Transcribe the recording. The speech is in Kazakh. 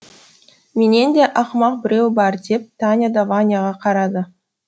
менен де ақымақ біреу бар деп таня да ваняға қарады